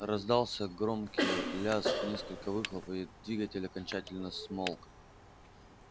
раздался громкий лязг несколько выхлопов и двигатель окончательно смолк